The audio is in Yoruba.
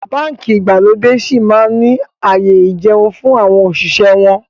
Báńkì ìgbàlódé síí máa ni ààyè ìjẹun fún àwọn òṣìṣẹ́ wọn